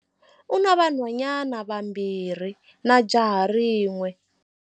U na vanhwanyana vambirhi na jaha rin'we.